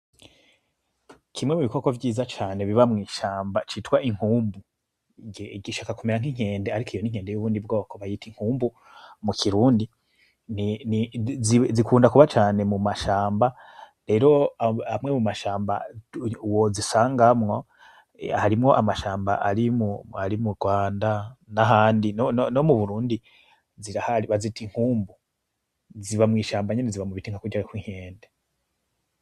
Kimwe mubikoko vyiza cane biba mwishamba citwa inkumbu gishaka kumera nkinkende ariko iyi ninkende yo mubundi bwoko bayita inkumbu mu Kirundi zikunda kuba cane mumashamba , amwe mumashamba wozisangamwo harimwo amashamba ari mu Rwanda nahandi no mu Burundi zirahari bazita Inkumbu ziba mwishamba nka kurya kw,Inkende .